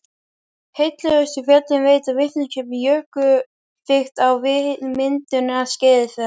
Heillegustu fjöllin veita vitneskju um jökulþykkt á myndunarskeiði þeirra.